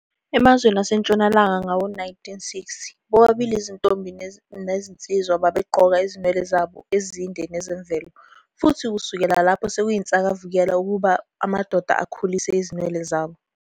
Emazweni aseNtshonalanga ngawo-1960, bobabili izinsizwa nezintombi babegqoka izinwele zabo ezinde nezemvelo, futhi kusukela lapho sekuyinsakavukela ukuba amadoda akhule izinwele zawo.